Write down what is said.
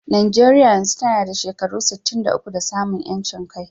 Najeriya yanzu tana da shekaru sittin da uku da samun ƴancin kai.